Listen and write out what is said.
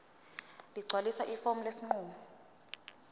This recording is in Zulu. ligcwalise ifomu lesinqumo